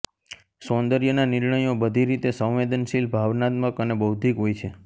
સૌંદર્યના નિર્ણયો બધી રીતે સંવેદનશીલ ભાવનાત્મક અને બૌદ્ધિક હોય છે